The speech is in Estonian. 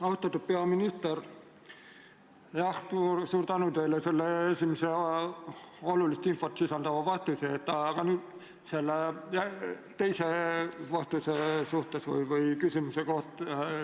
Austatud peaminister, suur tänu teile selle esimese olulist infot sisaldava vastuse eest!